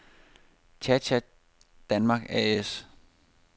Cha Cha Denmark A/S